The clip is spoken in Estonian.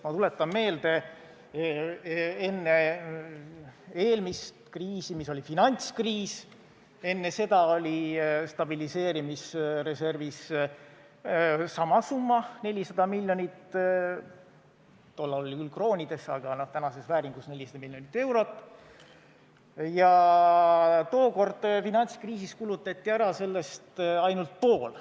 Ma tuletan meelde, et enne eelmist kriisi, mis oli finantskriis, oli stabiliseerimisreservis samasugune summa, 400 miljonit – tollal küll kroonides, aga tänases vääringus 400 miljonit eurot –, ja tookord kulutati finantskriisis sellest ära ainult pool.